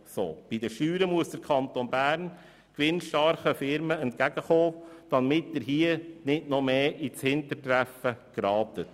Bei den Steuern muss der Kanton Bern gewinnstarken Firmen entgegenkommen, damit er nicht weiter ins Hintertreffen gerät.